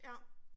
Ja